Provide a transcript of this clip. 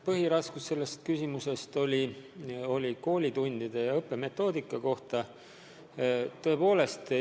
Põhiraskus on selle küsimuse korral koolitundide õppemetoodikal.